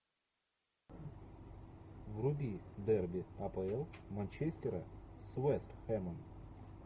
вруби дерби апл манчестера с вест хэмом